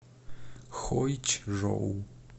хойчжоу